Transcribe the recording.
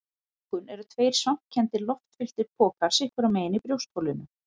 Lungun eru tveir svampkenndir, loftfylltir pokar sitt hvorum megin í brjóstholinu.